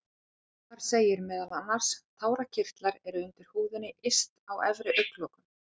Þar segir meðal annars: Tárakirtlar eru undir húðinni yst á efri augnlokum.